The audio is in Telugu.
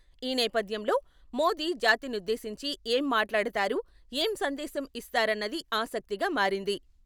ఈ నేపథ్యంలో మోదీ జాతినుద్ధేశించి ఏం మాట్లాడతారు, ఏ సందేశం ఇస్తారన్నది ఆసక్తిగా మారింది.